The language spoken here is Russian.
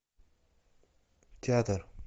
театр